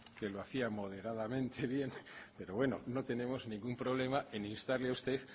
que lo hacía moderadamente bien pero bueno no tenemos ningún problema en instarle a usted